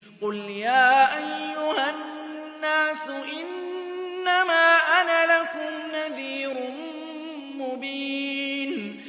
قُلْ يَا أَيُّهَا النَّاسُ إِنَّمَا أَنَا لَكُمْ نَذِيرٌ مُّبِينٌ